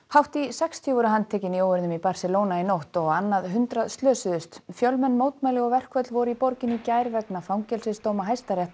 hátt í sextíu voru handtekin í óeirðum í Barcelona í nótt og á annað hundrað slösuðust fjölmenn mótmæli og verkföll voru í borginni í gær vegna fangelsisdóma